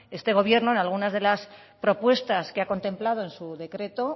este gobierno en algunas de las propuestas que ha contemplado en su decreto